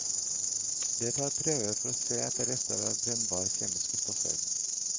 De tar prøver for å se etter rester av brennbare kjemiske stoffer.